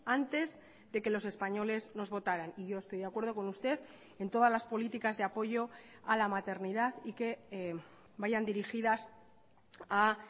antes de que los españoles nos votaran y yo estoy de acuerdo con usted en todas las políticas de apoyo a la maternidad y que vayan dirigidas a